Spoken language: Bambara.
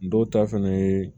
Dɔw ta fɛnɛ ye